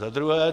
Za druhé.